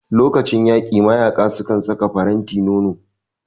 Lokacin yaƙi mayaƙa sukan saka faranti nono